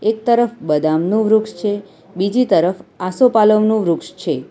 એક તરફ બદામનું વૃક્ષ છે બીજી તરફ આસોપાલવનું વૃક્ષ છે.